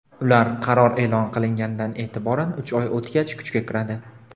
ular qaror e’lon qilingandan e’tiboran uch oy o‘tgach kuchga kiradi.